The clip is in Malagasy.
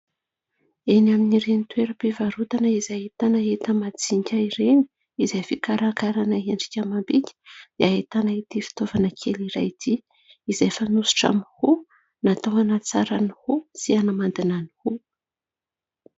Eny amin'ireny toeram-pivarotana izay ahitana enta-majinika ireny izay fikarakarana endrika amam-bika ny ahitana ity fitaovana kely iray ity, izay fanosotra amin'ny hoho, natao hanatsara ny hoho sy hanamandina ny hoho.